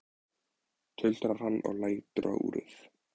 tuldrar hann og lítur á úrið.